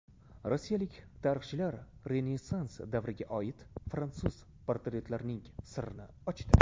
Rossiyalik tarixchilar Renessans davriga oid fransuz portretlarning sirini ochdi.